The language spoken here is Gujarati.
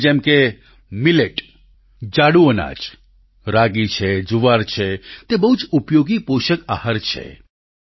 હવે જેમ કે મીલેટ જાડું અનાજ રાગી છે જુવાર છે તે બહુ જ ઉપયોગી પોષક આહાર છે